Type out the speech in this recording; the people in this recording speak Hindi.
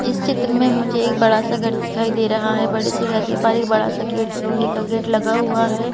इस चित्र में मुझे एक बड़ा सा घर दिखाई दे रहा है बड़े से घर के पास एक बड़ा सा गेट लोहे का गेट लगा हुआ है।